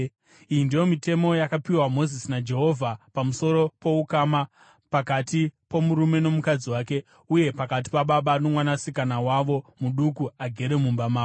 Iyi ndiyo mitemo yakapiwa Mozisi naJehovha pamusoro poukama pakati pomurume nomukadzi wake, uye pakati pababa nomwanasikana wavo muduku agere mumba mavo.